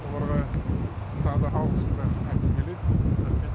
оларға тағы да алғысымды айтқым келеді рақмет